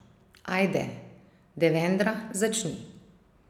Ajde, Devendra, začni!